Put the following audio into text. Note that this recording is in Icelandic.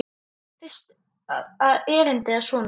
Fyrsta erindi er svona